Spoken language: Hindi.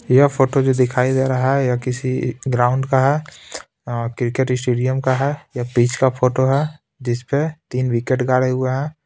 यह फ़ोटो जो दिखाई दे रहा है यह किसी ग्राउंड का है अ क्रिकेट स्टेडियम का है ये पिच का फोटो है जिस पे तीन विकेट गाड़े हुए हैं।